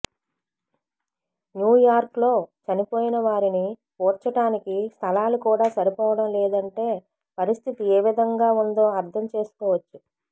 న్యూయార్క్లో చనిపోయిన వారిని పూడ్చటానికి స్థలాలు కూడా సరిపోవడం లేదంటే పరిస్థితి ఏ విధంగా ఉందో అర్థం చేసుకోవచ్చు